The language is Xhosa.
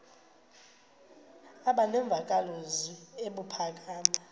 aba nemvakalozwi ebuphakama